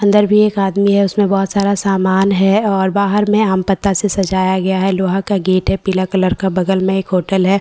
अंदर भी एक आदमी है उसमें बहुत सारा सामान है और बाहर में आम पत्ता से सजाया गया है लोहा का गेट है पीला कलर का बगल में एक होटल है --